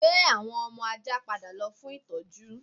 Gbé àwọn ọmọ ajá padà lọ fún ìtọ́jú